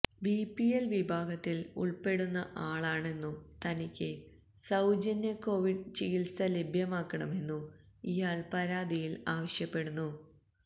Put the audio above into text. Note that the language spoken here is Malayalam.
ബിപിഎല് വിഭാഗത്തില് ഉള്പ്പെടുന്ന ആളാണെന്നും തനിക്ക് സൌജന്യ കോവിഡ് ചികിത്സ ലഭ്യമാക്കണമെന്നും ഇയാള് പരാതിയില് ആവശ്യപ്പെടുന്നു